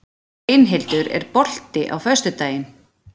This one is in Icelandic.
Steinhildur, er bolti á föstudaginn?